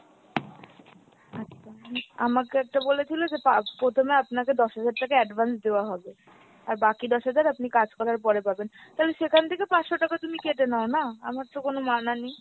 আচ্ছা, আমাকে একটা বলেছিলো যে পা~ প্রথমে আপনাকে দশ হাজার টাকা advance দেওয়া হবে, আর বাকি দশ হাজার আপনি কাজ করার পরে পাবেন। তালে সেখান থেকে পাঁচশো টাকা তুমি কেটে নাও না, আমারতো কোনো মানা নেই।